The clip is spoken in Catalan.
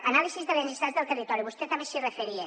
anàlisi de les necessitats del territori vostè també s’hi referia